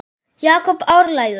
Jakob ærlegur